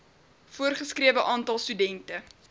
voorgeskrewe aantal studente